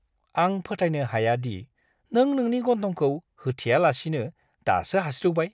आं फोथायनो हाया दि नों नोंनि गन्थंखौ होथेयालासिनो दासो हास्रिउबाय!